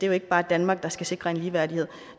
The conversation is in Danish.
jo ikke bare danmark der skal sikre en ligeværdighed